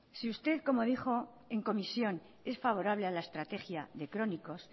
si usted como dijo en comisión es favorable a la estrategia de crónicos